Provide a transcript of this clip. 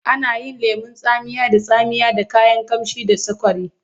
Ana yin lemon tsamiya da tsamiya da kayan ƙamshi da sukari.